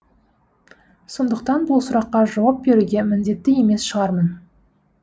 сондықтан бұл сұраққа жауап беруге міндетті емес шығармын